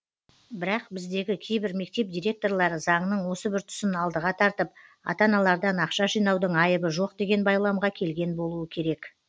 бірақ біздегі кейбір мектеп директорлары заңның осы бір тұсын алдыға тартып ата аналардан ақша жинаудың айыбы жоқ деген байламға келген болуы керек